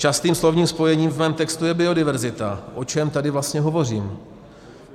Častým slovním spojením v mém textu je biodiverzita, o čem tady vlastně hovořím?